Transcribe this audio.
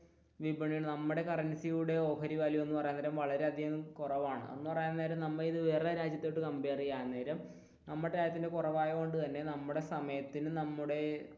നമ്മുടെ കറൻസിയുടെ ഓഹരി മൂല്യം എന്ന് പറയാൻ നേരം വളരെയധികം കുറവാണ് എന്ന് പറയാൻ നേരം നമ്മൾ വേറെ രാജ്യമായിട്ട് കംപൈർ ചെയ്യാൻ നേരം നമ്മുടെ രാജ്യത്തിന്റെ കുറവായതു കൊണ്ടുതന്നെ നമ്മുടെ സമയത്തിനും നമ്മുടെ